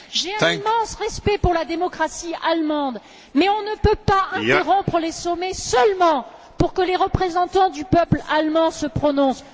J'ai un immense respect pour la démocratie allemande, mais nous ne pouvons pas interrompre les sommets seulement pour que les représentants du peuple allemand se prononcent.